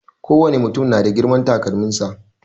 Kowane mutum na da girman takalmin sa.